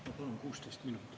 Ma palun 16 minutit.